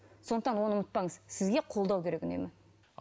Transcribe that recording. сондықтан оны ұмытпаңыз сізге қолдау керек үнемі